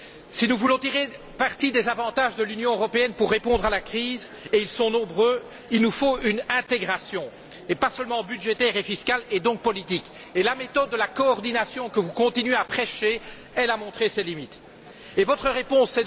Si nous voulons tirer parti des avantages de l'Union européenne pour répondre à la crise et ils sont nombreux il nous faut une intégration, non seulement budgétaire et fiscale, mais aussi politique. La méthode de la coordination que vous continuez à prêcher a montré ses limites. Quelle est votre réponse?